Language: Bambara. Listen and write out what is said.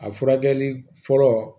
A furakɛli fɔlɔ